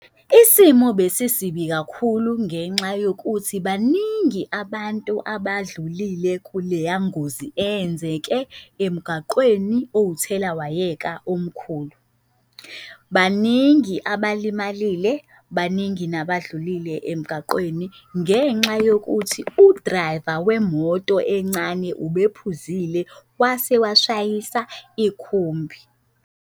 Isimo besisibi kakhulu ngenxa yokuthi baningi abantu abadlulile kuleya ngozi eyenzeke emgaqweni owuthelawayeka omkhulu. Baningi abalimalile, baningi nabadlulile emgaqweni, ngenxa yokuthi u-driver wemoto encane ubephuzile wase washayisa ikhumbi futhi.